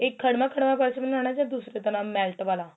ਇਹ ਖੜਵਾਂ ਖੜਵਾਂ purse ਬਣਾਨਾ ਜਾਂ ਦੂਸਰੀ ਤਰਾਂ melt ਵਾਲਾ